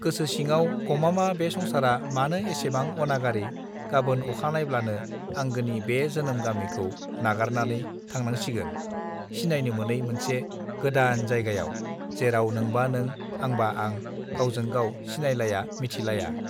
गोसो सिङाव गमामा बे संसारा मानो एसेबां अनागारि गबोन अखा नायब्लानो आंगोनि बे जोनोम गामिखौ नागारनानै थांनांसिगोन सिनायनो मोनै मोनसे गोदान जायगायाव जेराव नोंबा नों आंबा आं गावजों गाव सिनायलाया मिथिलाया